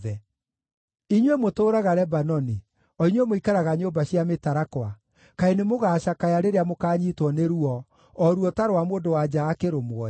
Inyuĩ mũtũũraga Lebanoni, o inyuĩ mũikaraga nyũmba cia mĩtarakwa, kaĩ nĩmũgacakaya rĩrĩa mũkanyiitwo nĩ ruo, o ruo ta rwa mũndũ-wa-nja akĩrũmwo-ĩ!”